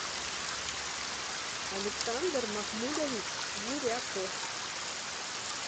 александр махмудович гуряков